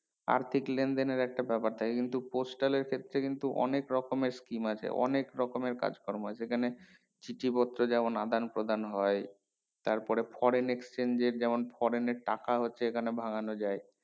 আর্থিক লেনদেনের একটা ব্যাপার থাকে কিন্তু postal এর ক্ষেত্রে কিন্তু অনেক রকমের scheme আছে অনেক রকমের কাজ কর্ম হয় আছে সেখানে চিঠি পত্র যেমন আদান প্রদান হয় তারপরে foreign exchange এর যেমন foreign এর টাকা হচ্ছে এখানে ভাঙ্গানো যায়